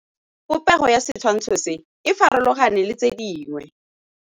Popêgo ya setshwantshô se, e farologane le tse dingwe.